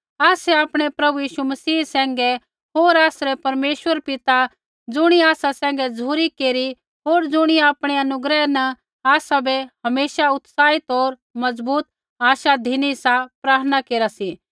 आसै आपणै प्रभु यीशु मसीह सैंघै होर आसरै परमेश्वर पिता ज़ुणियै आसा सैंघै झ़ुरी केरी होर ज़ुणियै आपणी अनुग्रह न आसाबै हमेशा उत्साह होर मजबूत आशा धिनी सा प्रार्थना केरा सी